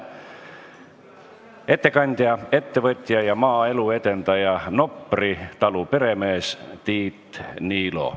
Kolmas ettekandja on ettevõtja ja maaelu edendaja, Nopri talu peremees Tiit Niilo.